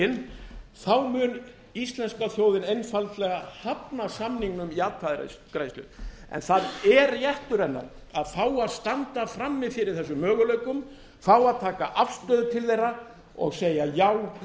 vegin þá mun íslenska þjóðin einfaldlega hafna samningnum í atkvæðagreiðslu en það er réttur hennar að fá að standa frammi fyrir þessum möguleikum fá að taka afstöðu til þeirra og segja já